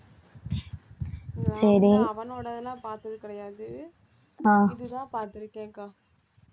நான் வந்து அவனோடதெல்லாம் பார்த்தது கிடையாது இதுதான் பார்த்திருக்கேன்க்கா